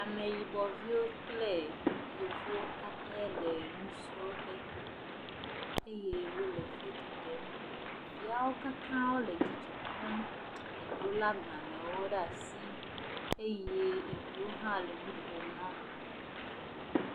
Ameyibɔviwo kple yevu aɖe le nusrɔ̃ƒe eye wole foto ɖem. Ɖeviawo katã wole dzidzɔ kpɔm, ɖewo lé agbalẽ ɖe asi eye eɖewo hã le nu ƒom naa.